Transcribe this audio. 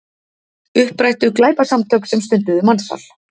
Upprættu glæpasamtök sem stunduðu mansal